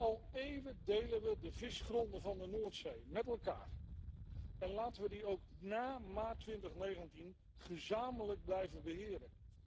Al eeuwen delen we de visgronden van de Noordzee met elkaar en laten we die ook na maart 2019 gezamenlijk blijven beheren.